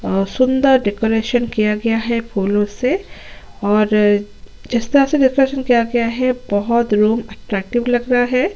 अ सुन्दर डेकोरेशन किया गया है फूलो से और जिस तरह डेकोरेशन किया गया है बहोत रूम अट्रेक्टिव लग रहा है।